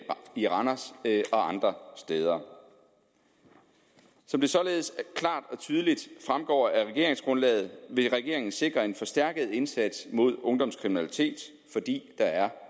i randers og andre steder som det således klart og tydeligt fremgår af regeringsgrundlaget vil regeringen sikre en forstærket indsats mod ungdomskriminalitet fordi der er